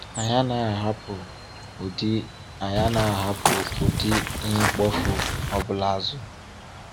Anyị anaghị ahapụ ụdị anaghị ahapụ ụdị ihe mkpofu ọ bụla azụ.